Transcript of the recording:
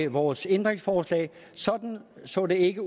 vores ændringsforslag så det ikke